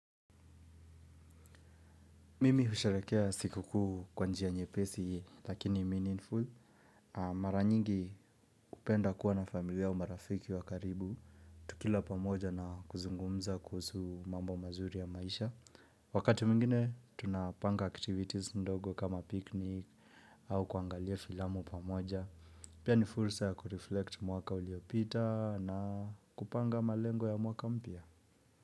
Mimi husherehekea siku kuu kwa njia nyepesi, lakini meaningful. Mara nyingi kupenda kuwa na familia au marafiki wa karibu. Tukila pamoja na kuzungumza kuhusu mambo mazuri ya maisha. Wakati mwingine, tunapanga activities ndogo kama picnic au kuangalia filamu pamoja. Pia ni fursa ya kureflect mwaka uliopita na kupanga malengo ya mwaka mpya.